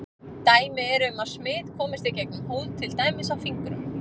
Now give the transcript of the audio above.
Dæmi eru um að smit komist í gegnum húð til dæmis á fingrum.